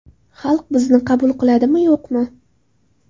Xalq bizni qabul qiladimi, yo‘qmi?